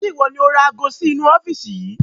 Ṣé ìwọ ni ó ra ago sì inu ọ́fíìsì yìí?